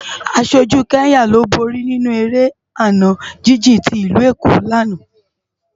Áṣójú Kenya ló bóri ninú éré àná jijin ti Ilú Ékó làná